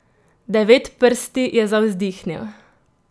Devetprsti je zavzdihnil.